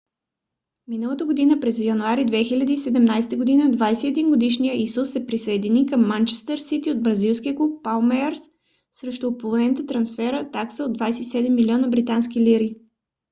миналата година през януари 2017 година 21 - годишният исус се присъедини към манчестър сити от бразилския клуб палмейрас срещу оповестена трансферна такса от 27 милиона британски лири